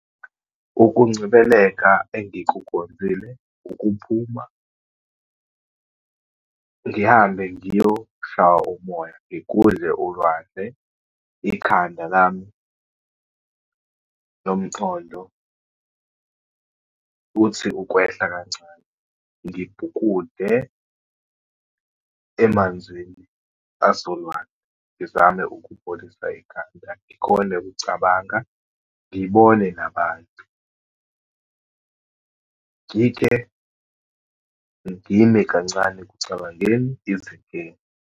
Ukuncebeleka engikukhonzile, ukuphuma ngihambe ngiyoshaywa umoya, ngigudle ulwandle, ikhanda lami nomqondo uthi ukwehla kancane. Ngibhukude emanzini asolwandle, ngizame ukupholisa ikhanda, ngikhone ukucabanga, ngibone nabantu. Ngike ngime kancane ekucabangeni izinkinga.